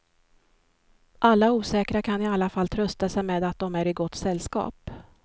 Alla osäkra kan i alla fall trösta sig med att de är i gott sällskap.